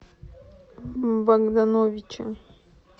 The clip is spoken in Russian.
богдановича